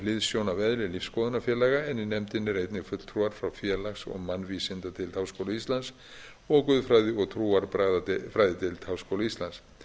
hliðsjón af eðli lífsskoðunarfélaga en í nefndinni eru einnig fulltrúar frá félags og mannvísindadeild háskóla íslands og guðfræði og trúarbragðafræðideild háskóla íslands